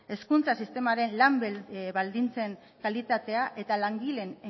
hezkuntza sistemaren lan baldintzen kalitatea eta langileen